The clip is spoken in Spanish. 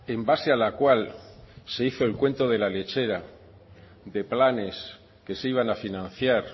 en base a la cual se hizo el cuento de la lechera de planes que se iban a financiar